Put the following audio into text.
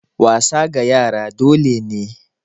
Wasa ga yara dole ne